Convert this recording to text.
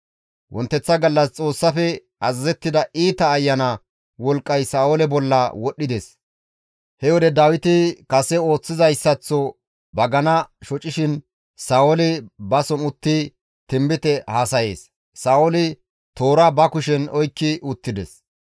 Wonteththa gallas Xoossafe azazettida iita ayana wolqqay Sa7oole bolla wodhdhides; he wode Dawiti kase ooththizayssaththo bagana shocishin Sa7ooli bason uttidi tinbite haasayees; Sa7ooli toora ba kushen oykki uttides;